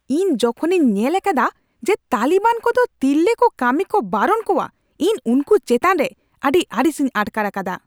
ᱤᱧ ᱡᱚᱠᱷᱚᱱᱤᱧ ᱧᱮᱞ ᱟᱠᱟᱫᱟ ᱡᱮ ᱛᱟᱹᱞᱤᱵᱟᱱ ᱠᱚᱫᱚ ᱛᱤᱨᱞᱟᱹ ᱠᱚ ᱠᱟᱹᱢᱤ ᱠᱚ ᱵᱟᱨᱚᱱ ᱠᱚᱣᱟ, ᱤᱧ ᱩᱱᱠᱩ ᱪᱮᱛᱟᱱ ᱨᱮ ᱟᱹᱰᱤ ᱟᱹᱲᱤᱥᱤᱧ ᱟᱴᱠᱟᱨ ᱟᱠᱟᱫᱟ ᱾